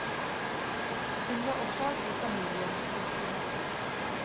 Hun var også av god familie. punktum